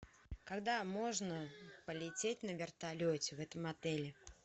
когда можно полететь на вертолете в этом отеле